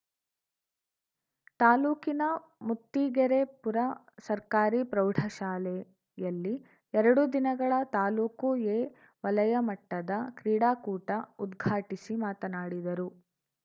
ತಾಲೂಕಿನ ಮುತ್ತಿಗೆರೆಪುರ ಸರ್ಕಾರಿ ಪ್ರೌಢಶಾಲೆಯಲ್ಲಿ ಎರಡು ದಿನಗಳ ತಾಲೂಕು ಎ ವಲಯ ಮಟ್ಟದ ಕ್ರೀಡಾಕೂಟ ಉದ್ಘಾಟಿಸಿ ಮಾತನಾಡಿದರು